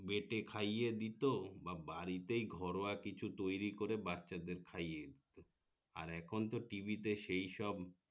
বেঁটে খাইয়ে দিতো বা বাড়িতেই ঘরোয়া কিছু তৈরি করে বাচ্ছাদের কিছু খাইয়ে দিতো আর এখন তো টিভিতে সেই সব